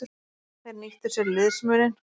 Þeir nýttu sér liðsmuninn.